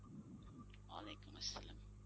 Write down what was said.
ওয়ালীকুম আস্সালাম।